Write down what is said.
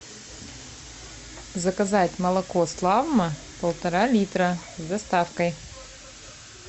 заказать молоко славмо полтора литра с доставкой